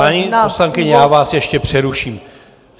Paní poslankyně, já vás ještě přeruším.